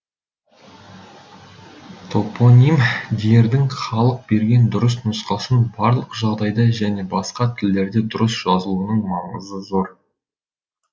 топоним дердің халық берген дұрыс нұсқасын барлық жағдайда және басқа тілдерде дұрыс жазылуының маңызы зор